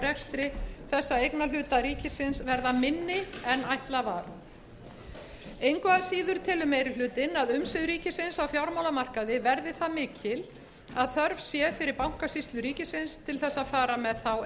rekstri þessa eignarhluta ríkisins verða minni en ætlað var engu að síður telur meiri hlutinn að umsvif ríkisins á fjármálamarkaði verði það mikil að þörf sé fyrir bankasýslu ríkisins til þess að fara með þá